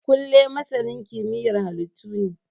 Kunle masanin kimiyyar halittu ne